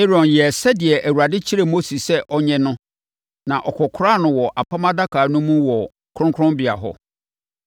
Aaron yɛɛ sɛdeɛ Awurade kyerɛɛ Mose sɛ ɔnyɛ no na ɔkɔkoraa no wɔ Apam Adaka no mu wɔ kronkronbea hɔ.